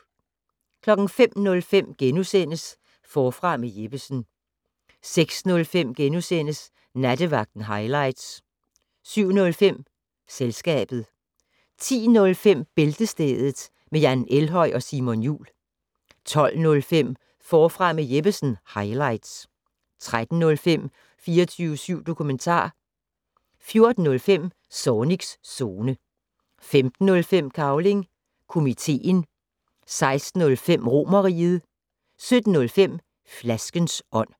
05:05: Forfra med Jeppesen * 06:05: Nattevagten highlights * 07:05: Selskabet 10:05: Bæltestedet med Jan Elhøj og Simon Jul 12:05: Forfra med Jeppesen - highlights 13:05: 24syv dokumentar 14:05: Zornigs Zone 15:05: Cavling Komiteen 16:05: Romerriget 17:05: Flaskens ånd